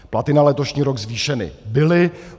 Platy na letošní rok zvýšeny byly.